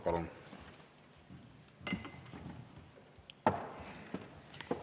Palun!